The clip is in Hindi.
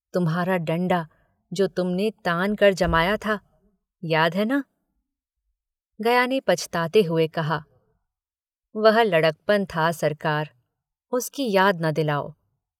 तुम्हारा डंडा जो तुमने तानकर जमाया था याद है न गया ने पछताते हुए कहा वह लड़कपन था सरकार उसकी याद न दिलायो।